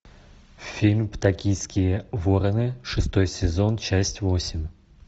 фильм токийские вороны шестой сезон часть восемь